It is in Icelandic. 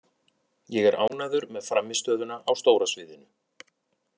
Ég er ánægður með frammistöðuna á stóra sviðinu.